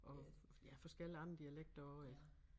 Og ja forskellige andre dialekter også ik